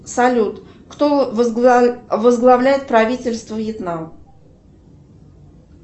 салют кто возглавляет правительство вьетнам